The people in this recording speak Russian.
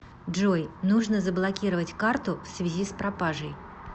джой нужно заблокировать карту в связи с пропажей